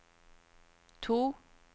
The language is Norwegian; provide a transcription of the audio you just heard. to